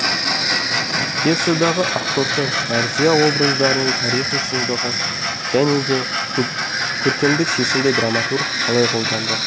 пьесадағы ақтоқты мәрзия образдарының тарихи шыңдығы және де көркемдік шешімді драматург қалай қолданды